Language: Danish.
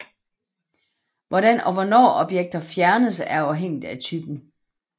Hvordan og hvornår objekter fjernes er afhængigt af typen